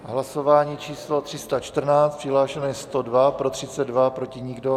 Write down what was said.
Hlasování číslo 314, přihlášeno je 102, pro 32, proti nikdo.